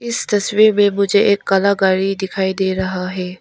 इस तस्वीर में मुझे एक काला गाड़ी दिखाई दे रहा है।